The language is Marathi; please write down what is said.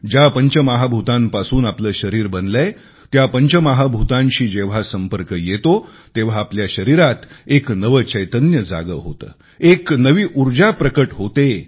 ज्या पंचमहाभूतांपासून आपले शरीर बनलेय त्या पंचमहाभूतांशी जेव्हा संपर्क येतो तेव्हा आपल्या शरीरात एक नवे चैतन्य जागे होते एक नवी ऊर्जा प्रकट होते